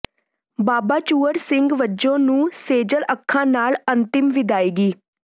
ਬਾਬਾ ਚੂਹੜ ਸਿੰਘ ਬੱਜੋਂ ਨੂੰ ਸੇਜਲ ਅੱਖਾਂ ਨਾਲ ਅੰਤਿਮ ਵਿਦਾਇਗੀ